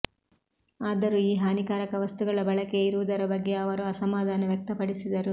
ಆದರೂ ಈ ಹಾನಿಕಾರಕ ವಸ್ತುಗಳ ಬಳಕೆಯ ಇರುವುದರ ಬಗ್ಗೆ ಅವರು ಅಸಮಾಧಾನ ವ್ಯಕ್ತಪಡಿಸಿದರು